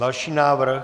Další návrh.